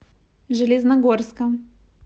железногорска